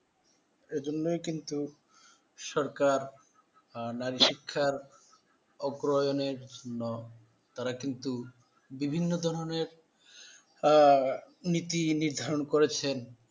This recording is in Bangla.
জন্যই কিন্তু। সরকার, আহ নারিশিক্ষার অগ্রহায়ণের জন্য তারা কিন্তু বিভিন্ন ধরনের আহ নীতি নির্ধারণ করছেন।